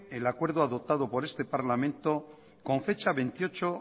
el acuerdo adoptado por este parlamento con fecha veintiocho